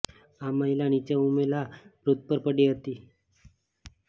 આ મહિલા નીચે ઉભેલા વૃદ્ધ પર પડી હતી